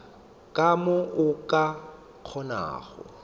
ka mo o ka kgonago